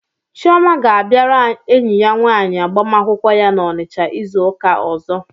Chioma ga-abịara enyi ya nwaanyị agbamakwụkwọ ya n'Onitsha izu ụka ọzọ.